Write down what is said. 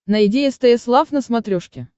найди стс лав на смотрешке